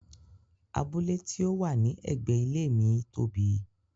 Abule ti o wa ni ẹgbẹ ilé ìwé mii tóbi.